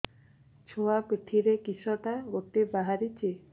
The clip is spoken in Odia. ଛୁଆ ପିଠିରେ କିଶଟା ଗୋଟେ ବାହାରିଛି